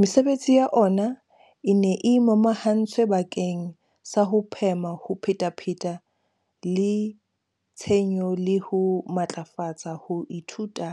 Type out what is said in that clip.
Mesebetsi ya ona e ne e momahantswe bakeng sa ho phema ho phetapheta le tshenyo le ho matlafatsa ho ithuta